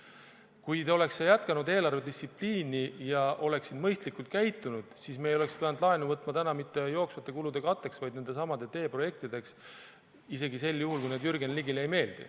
Kui te oleksite jätkanud eelarvedistsipliini ja oleksite mõistlikult käitunud, siis me ei oleks pidanud laenu võtma mitte jooksvate kulude katteks, vaid nendesamade teeprojektide tarbeks, isegi sel juhul, kui need Jürgen Ligile ei meeldi.